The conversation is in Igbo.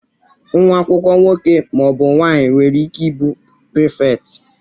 Nwa akwụkwọ nwoke ma ọ bụ nwanyị nwere ike ị bụ prịfèkt.